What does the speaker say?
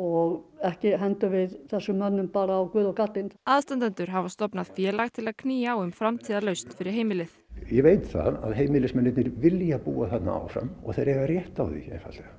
og ekki hendum við þessum mönnum bara á guð og gaddinn aðstandendur hafa stofnað félag til að knýja á um framtíðarlausn fyrir heimilið ég veit það að vilja búa þarna áfram og þeir eiga rétt á því einfaldlega